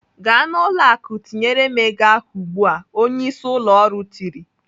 "Gaa n'ụlọ akụ tinyere m ego ahụ ugbu a!" Onyeisi ụlọ ọrụ tiri.